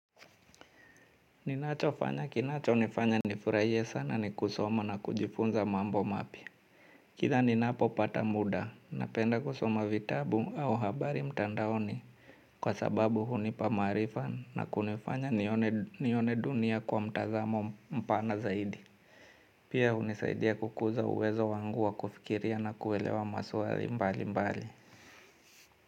Ninacho fanya kinacho nifanya nifurahie sana ni kusoma na kujifunza mambo mapia. Kila ninapo pata muda napenda kusoma vitabu au habari mtandaoni. Kwa sababu hunipamarifa na kunifanya nione dunia kwa mtazamo mpana zaidi. Pia hunisaidia kukuza uwezo wangu wa kufikiria na kuelewa masuari mbali mbali.